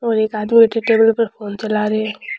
और एक आदमी बैठो है टेबल पर फोन चला रो है।